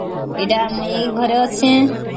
ଏଇଟା ମୁଇ ଘରେ ଅଛେ